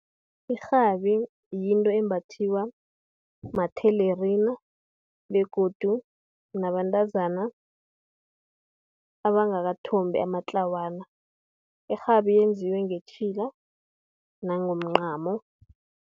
Irhabi, yinto embathwa mathelerina, begodu nabantazana abangakathombi, amatlawana. Irhabi iyenziwe ngetjhila nangomncamo.